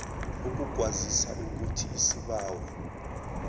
ukukwazisa ukuthi isibawo